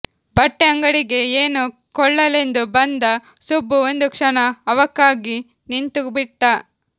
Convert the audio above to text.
ಬಟ್ಟೆ ಅಂಗಡಿಗೆ ಏನೋ ಕೊಳ್ಳಲೆಂದು ಬಂದ ಸುಬ್ಬು ಒಂದು ಕ್ಷಣ ಅವಾಕ್ಕಾಗಿ ನಿಂತುಬಿಟ್ಟ